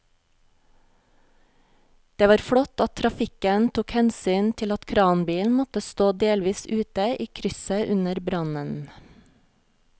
Det var flott at trafikken tok hensyn til at kranbilen måtte stå delvis ute i krysset under brannen.